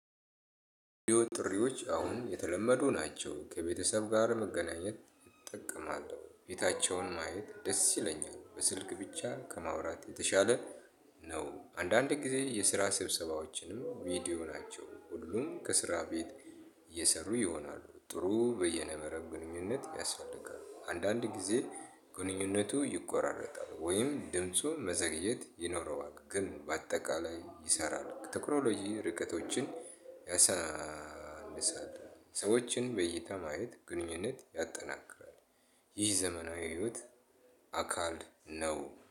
ጥሪዎች አሁን የተለመዱ ናቸው ከቤተሰብ ጋር መገናኘት ጥቅም አለው። ቤታቸውን ማየት ደስ ይለኛል በስልክ ብቻ ከማውራት የተሻለ ነው። አንዳንድ ጊዜ የስራ ስብሰባዎችንም በቪዲዮ ናቸው ሁሉም ከስራ ቤት እየሰሩ ይሆናሉ። ጥሩ የበይነመረብ ግንኙነት ያስፈልጋል። አንዳንድ ጊዜ ግንኙነቱ ይቆራረጣል ወይም ድምፁ መዘግየት ይኖረዋል። ግን በአጠቃላይ ይሰራል። ቴክኖሎጂ ርቀቶችን ያሳንሳል ሰዎችን በይታ ማየት ግንኙነት ያጠናክራል። ይህ ዘመናዊ ህይወት አካል ነው